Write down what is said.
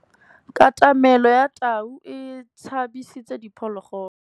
Katamêlô ya tau e tshabisitse diphôlôgôlô.